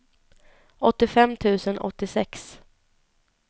åttiofem tusen åttiosex